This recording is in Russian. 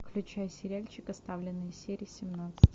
включай сериальчик оставленные серия семнадцать